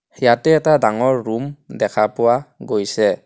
ইয়াতে এটা ডাঙৰ ৰুম দেখা পোৱা গৈছে.